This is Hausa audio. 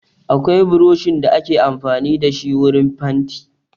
Akwai buroshin da ake amfani da shi wurin fanti.